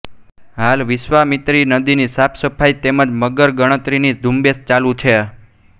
હાલ વિશ્વામિત્રી નદીની સાફસફાઇ તેમજ મગર ગણતરીની ઝુંબેશ ચાલુ છે